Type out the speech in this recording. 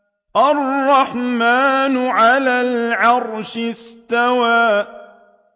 الرَّحْمَٰنُ عَلَى الْعَرْشِ اسْتَوَىٰ